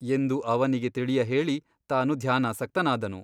ಎಂದು ಅವನಿಗೆ ತಿಳಿಯಹೇಳಿ ತಾನು ಧ್ಯಾನಾಸಕ್ತನಾದನು.